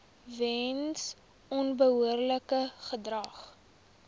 weens onbehoorlike gedrag